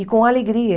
E com alegria.